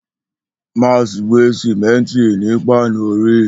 Max gbe simenti ni panori.